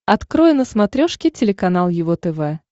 открой на смотрешке телеканал его тв